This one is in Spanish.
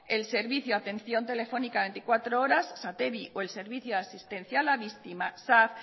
el servicio atención telefónica veinticuatro horas satevi o el servicio asistencial a víctimas sav